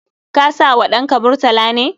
Ka sa wa ɗanka Murtala ne?